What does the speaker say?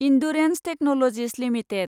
Endurance Technologies limited